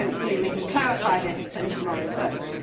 Hopefully, we can clarify this in tomorrow's votes.